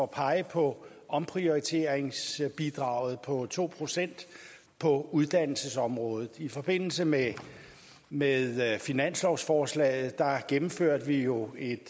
pege på omprioriteringsbidraget på to procent på uddannelsesområdet i forbindelse med med finanslovsforslaget gennemførte vi jo et